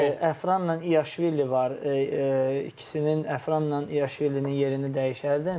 Əfranla Yiaşvilinin yerini dəyişərdim.